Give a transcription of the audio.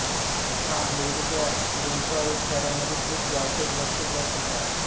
हा अमेरिकेच्या डेट्रॉईट शहरामधील एक व्यावसायिक बास्केटबॉल संघ आहे